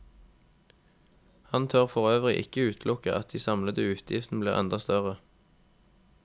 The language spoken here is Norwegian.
Han tør for øvrig ikke utelukke at de samlede utgiftene blir enda større.